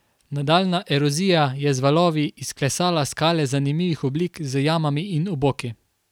Nadaljnja erozija je z valovi izklesala skale zanimivih oblik z jamami in oboki.